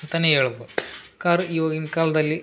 ಅಂತಾನೆ ಹೇಳ್ಬೌದು ಕಾರ್ ಇವಾಗಿನ್ ಕಾಲ್ದಲ್ಲಿ --